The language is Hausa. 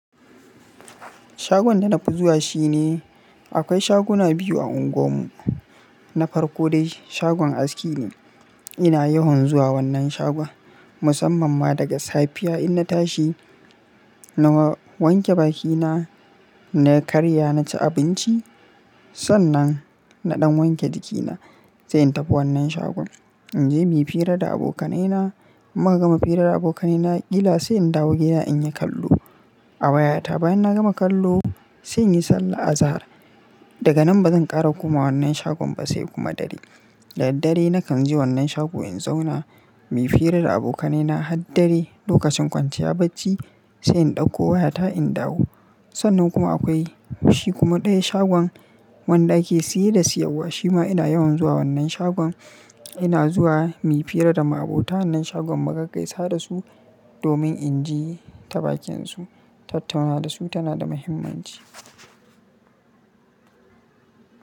Shagon da na fi zuwa shine akwai shaguna biyu a unguwarmu. Na farko dai shagon aski ne. Ina yawan zuwa wannan shagon musamman ma daga safiya in na tashi, na wanke bakina, na karya, na ci abinci. Sannan na ɗan wanke jikina sai in tafi wannan shagon. In je muyi fira da abokanaina. Muka gama fira da abokanai na kila sai in dawo gida in yi kallo a wayata. Bayan na gama kallo sai in yi sallah azahar. Daga nan ba zan ƙara komawa wannan shagon ba sai kuma dare. Da daddare nakan je wannan shago in zauna muyi fira da abokanaina har dare lokacin kwanciya bacci sai in ɗauko wayata in dawo. Sannan kuma akwai shi kuma ɗaya shagon wanda ake siye da siyarwa shima ina yawan zuwa wannan shagon. Ina zuwa muyi fira da ma'abota wannan shagon magakaisa da su domin in ji tabakin su. Tattaunawa da su tana da muhimmanci.